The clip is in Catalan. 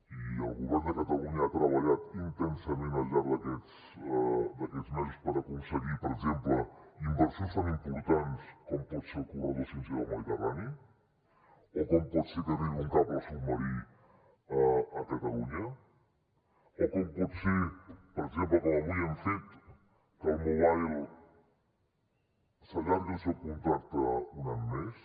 i el govern de catalunya ha treballat intensament al llarg d’aquests mesos per aconseguir per exemple inversions tan importants com pot ser el corredor 5g del mediterrani o com pot ser que arribi un cable submarí a catalunya o com pot ser per exemple com avui hem fet que el mobile s’allargui el seu contracte un any més